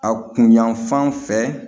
A kun yanfan fɛ